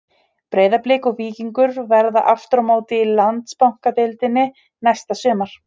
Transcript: Breiðablik og Víkingur verða aftur á móti í Landsbankadeildinni næsta sumar.